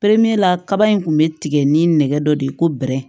Pereperela kaba in tun bɛ tigɛ ni nɛgɛ dɔ de ye ko bɛrɛ